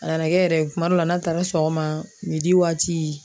A nana kɛ yɛrɛ kuma dɔ la n'a taara sɔgɔma waati